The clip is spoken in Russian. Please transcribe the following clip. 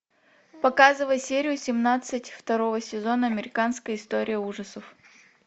показывай серию семнадцать второго сезона американская история ужасов